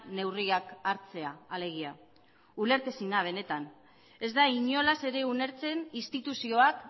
neurriak hartzea alegia ulertezina benetan ez da inolaz ere ulertzen instituzioak